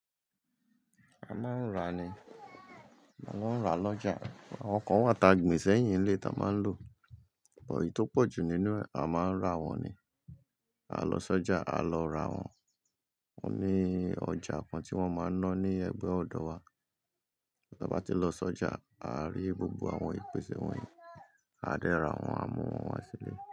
A máa ń ra ni. A lọ ń ra lọ́jà. Àwọn kan wà tá gbìn sẹ́yìn ilé tá a máa ń lò, ṣùgbọ́n èyí tó pọ̀ jù nínú ẹ̀ a máa ń rà wọ́n ni. A lọ sọ́jà, à á lọ rà wọ́n. Wọ́n ní ọjà kan tí wọ́n máa ń ná ní Ẹ̀gbẹ́ ọ̀dọ̀ wa. Tí ọba tí lọ sọ́jà, a rí gbogbo àwọn ìpèsè wọ̀nyí, a dẹ́ ra wọ́n, a mú wọn wá sí ilé.